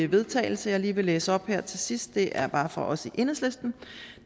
vedtagelse jeg lige vil læse op her til sidst og det er bare fra os i enhedslisten og